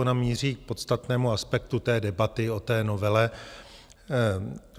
Ona míří k podstatnému aspektu té debaty o té novele.